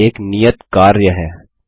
यहाँ एक नियत कार्य है